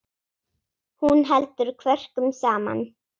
Hún heldur kvörkum saman.